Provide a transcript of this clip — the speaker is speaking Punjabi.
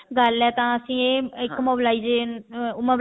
ਗੱਲ ਹੈ ਤਾਂ ਅਸੀਂ mobilization